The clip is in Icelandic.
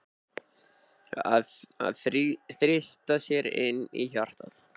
Að þrýsta sér inn í hjartað.